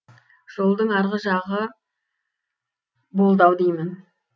жолдың арғы жағы болды ау деймін